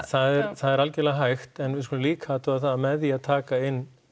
það er algjörlega hægt en við skulum líka athuga það að með því að taka inn